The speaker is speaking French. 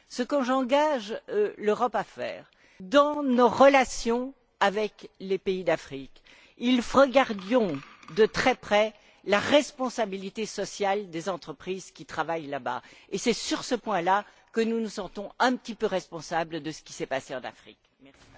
Ce que j'engage l'Europe à faire, dans ses relations avec les pays d'Afrique, c'est regarder de très près la responsabilité sociale des entreprises qui travaillent là bas. C'est sur ce point là que nous nous sentons un petit peu responsables de ce qui s'est passé en Afrique du Sud.